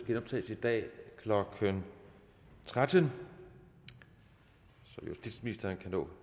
det genoptages i dag klokken tretten så justitsministeren kan nå et